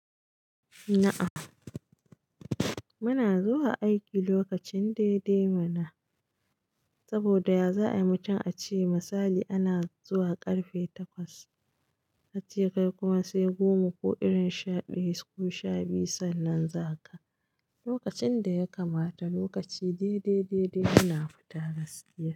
Na'am muna zuwa aiki lokacin daidai ma na saboda ya za'a yi mutum a ce misali ana zuwa karfe takwas, ka ce kai kuma sai goma ko irin shaɗaya ko sha biyu sannan za ka. Lokacin da ya kamata lokaci daidai, daidai muna fita gaskiya.